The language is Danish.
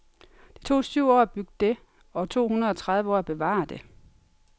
Det tog syv år at bygge det og to hundrede og tredive år at bevare det.